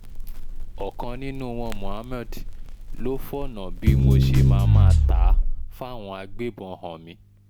ọ̀kan nínú wọn mohammed ló fọ̀nà bí mo ṣe máa máa tà á fáwọn agbébọn hàn mí